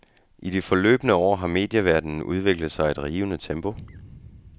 I de forløbne år har medieverdenen udviklet sig i et rivende tempo.